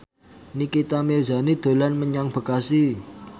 Nikita Mirzani dolan menyang Bekasi